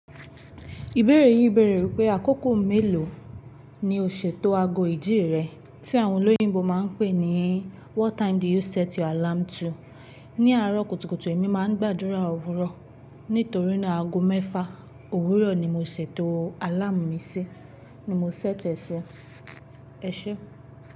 Ìbéèrè yín bèèrè wípé àkókò mélòó ni o ṣètò ago ìdí rẹ tí àwọn olóyìnbo máa ń pè ní what time do you set your alarm to? Ní àárọ̀ kùtùkùtù èmi máa ń gbàdúrà òwúrọ̀. Nítorí náà ago mẹ́fà òwúrọ̀ ni mo ṣètò alarm mi ṣi ni mo ṣèti. Ẹ ṣi.